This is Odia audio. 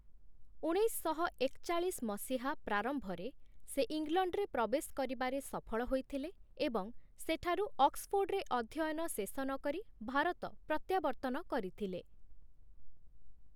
ଉଣେଇଶଶହ ଏକଚାଳିଶ ମସିହା ପ୍ରାରମ୍ଭରେ, ସେ ଇଂଲଣ୍ଡରେ ପ୍ରବେଶ କରିବାରେ ସଫଳ ହୋଇଥିଲେ ଏବଂ ସେଠାରୁ ଅକ୍ସ୍‌ଫୋର୍ଡ଼୍‌ରେ ଅଧ୍ୟୟନ ଶେଷ ନକରି ଭାରତ ପ୍ରତ୍ୟାବର୍ତ୍ତନ କରିଥିଲେ ।